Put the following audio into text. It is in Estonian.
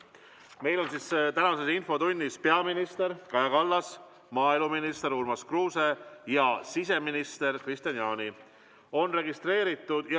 Meil on tänases infotunnis peaminister Kaja Kallas, maaeluminister Urmas Kruuse ja siseminister Kristian Jaani.